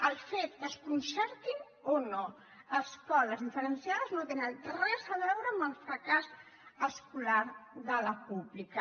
el fet que es concertin o no escoles diferenciades no té res a veure amb el fracàs escolar de la pública